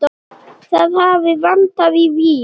Það hafi vantað í Vík.